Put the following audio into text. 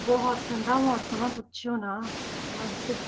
ਬਹੁਤ ਠੰਢਾ ਮੌਸਮ ਹੈ ਪੁੱਛਿਓ ਨਾ।